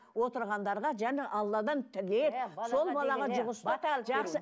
отырғандарға және алладан тілеп сол балаға жұғысты